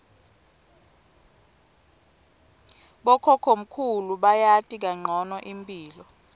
bokhokhomkhulu bayati kancono imphilo